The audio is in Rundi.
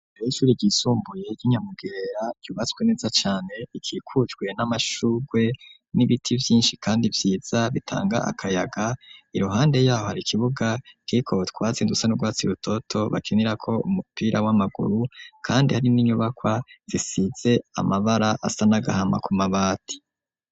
Ishuri ryisumbuye ry'inyamugerera ryubatswe neza cane ikikujwe n'amashurwe n'ibiti vyinshi kandi vyiza bitanga akayaga iruhande yaho hari ikibuga kiko twatsindutse n'urwatsi rutoto bakinira ko umupira w'amaguru .Kandi hari n'inyubakwa zisize amabara asa nagahama ku mabati.